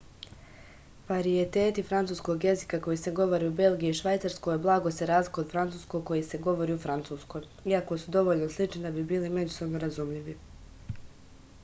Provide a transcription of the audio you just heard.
varijeteti francuskog jezika koji se govore u belgiji i švajcarskoj blago se razlikuju od francuskog koji se govori u francuskoj iako su dovoljno slični da bi bili međusobno razumljivi